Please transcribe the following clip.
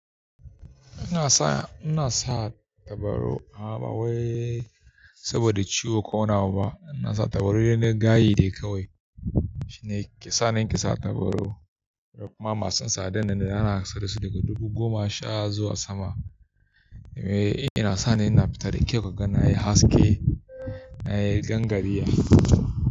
Ina sa, ina sa tabarau amma ba wai saboda ciwo ko nawa ba. Ina sa tabarau na ɗan gayye dai kawai. Shi ne kesa, na keda tabarau kuma masu tsadarnanne ana saidasu daga dubu goma sha zuwa sama. Yana sani ina fita da kyau kaga, nayi haske, na yi gangariya.